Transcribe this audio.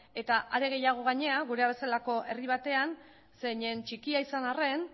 eta are gehiago gainera gurea bezalako herri batean gainera zeinen txikia izan arren